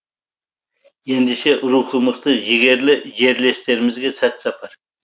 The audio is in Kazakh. ендеше рухы мықты жігерлі жерлестерімізге сәт сапар